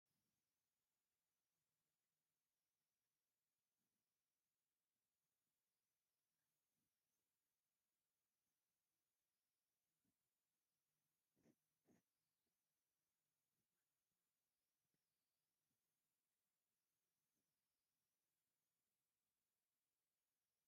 ኣብ ትግራይ ከባቢ ገጠር ዝርከባ ጓል ኣንስተቲ ኣብ ክሳዳ መስቀልን መፍቱሑን ብሃሪ ኣሲራ ስገም ተቆኒና ኣብ ማዓንጣኣ መቀነት ተቀኒታ ኮፍ ኢላ እክሊ ኣብ ሰፍኢ እንዳፅረየት እያ።